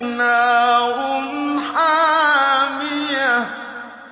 نَارٌ حَامِيَةٌ